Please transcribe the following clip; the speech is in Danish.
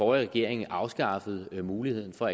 regering afskaffede muligheden for